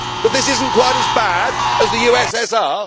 That this is not quite as bad as the